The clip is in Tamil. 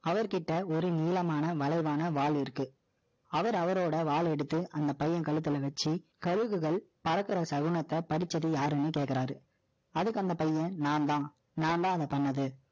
ஒரு நீளமான வளைவான வால் இருக்கு. அவர், அவரோட வால் எடுத்து, அந்த பையன் கழுத்துல வச்சு, கழுகுகள், பறக்கிற சகுனத்தை, படிச்சது யாருன்னு கேட்கிறாரு. அதுக்கு அந்த பையன், நான்தான், நான்தான் அதை பண்ணது